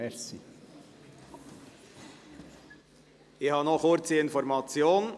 Ich habe noch eine kurze Information.